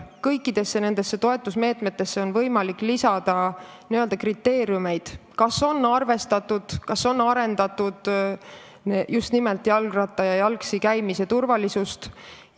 Kõikidesse nendesse toetusmeetmetesse on võimalik lisada n-ö kriteeriumeid, kas on arvestatud just nimelt jalgrattaga liikumise ja jalgsi käimise turvalisust.